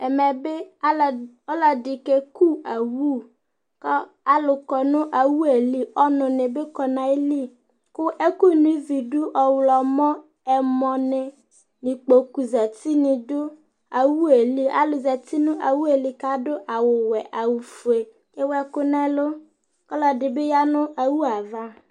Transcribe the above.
ɛmɛ bi ɔloɛdi ke ku owu k'alo kɔ no owue li ɔnu ni bi kɔ n'ayili kò ɛkò no ivi do ɔwlɔmɔ ɛmɔ ni ikpoku zati ni do owue li alo zati no owue li k'ado awu wɛ awu fue ewu ɛkò n'ɛlu ɔloɛdi bi ya no owue ava